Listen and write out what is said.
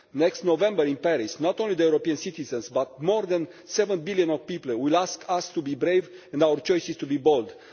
Next November in Paris, not only European citizens but more than 7 billion people will ask us to be brave and for our choices to be bold.